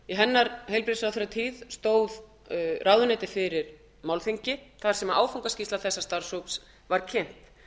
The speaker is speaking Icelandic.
í heilbrigðisráðherratíð fyrrverandi heilbrigðisráðherra álfheiðar ingadóttur stóð ráðuneytið fyrir málþingi þar sem áfangaskýrsla þessa starfshóps var kynnt